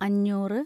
അഞ്ഞൂറ്